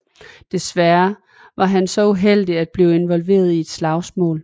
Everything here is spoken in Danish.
Desværre var han så uheldig at blive involveret i et slagsmål